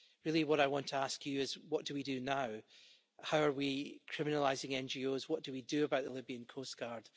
Really, what I want to ask you is what do we do now? How are we criminalising NGOs, what do we do about the Libyan coastguard?